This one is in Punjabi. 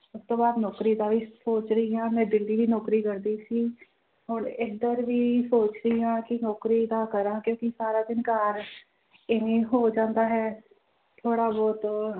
ਉਸ ਤੋਂ ਬਾਅਦ ਨੌਕਰੀ ਦਾ ਵੀ ਸੋਚ ਰਹੀ ਹਾਂ ਮੈਂ ਦਿੱਲੀ ਵੀ ਨੌਕਰੀ ਕਰਦੀ ਸੀ ਹੁਣ ਇੱਧਰ ਵੀ ਸੋਚ ਰਹੀ ਹਾਂ ਕਿ ਨੌਕਰੀ ਦਾ ਕਰਾਂ ਕਿਉਂਕਿ ਸਾਰਾ ਦਿਨ ਘਰ ਇਵੇਂ ਹੋ ਜਾਂਦਾ ਹੈ ਥੋੜ੍ਹਾ ਬਹੁਤ